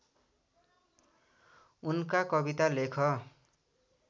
उनका कविता लेख